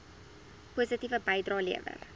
positiewe bydrae lewer